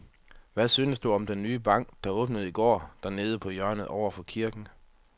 Hvad synes du om den nye bank, der åbnede i går dernede på hjørnet over for kirken?